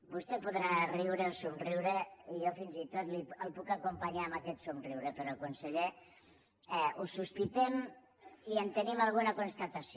vostè podrà riure o somriure i jo fins i tot el puc acompanyar amb aquest somriure però conseller ho sospitem i en tenim alguna constatació